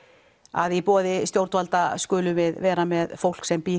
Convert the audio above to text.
að í boði stjórnvalda skulum við vera með fólk sem býr